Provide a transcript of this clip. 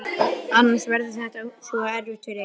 Annars verður þetta svo erfitt fyrir þig.